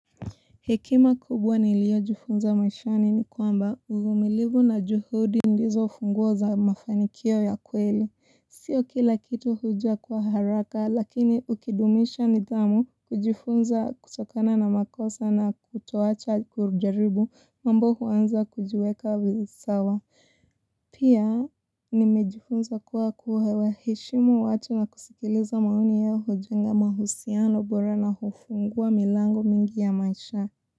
Hekima kubwa niliyojifunza maishani ni kwamba, uvumilivu na juhudi ndizo funguo za mafanikio ya kweli. Sio kila kitu huja kwa haraka lakini ukidumisha nidhamu, kujifunza kutokana na makosa na kutoacha kujaribu, mambo huanza kujiweka visawa. Pia nimejifunza kuwa kuwaheshimu watu na kusikiliza maoni ya hujenga mahusiano bora na hufungua milango mingi ya maisha.